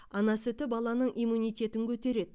ана сүті баланың иммунитетін көтереді